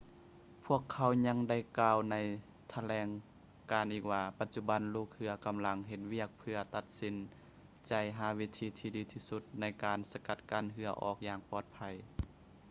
ພວກເຂົາຍັງໄດ້ກ່າວໃນຖະແຫຼງການອີກວ່າ ປະຈຸບັນລູກເຮືອກຳລັງເຮັດວຽກເພື່ອຕັດສິນໃຈຫາວິທີທີ່ດີທີ່ສຸດໃນການສະກັດເຮືອອອກຢ່າງປອດໄພ